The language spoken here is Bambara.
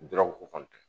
Dɔrɔgu kɔntan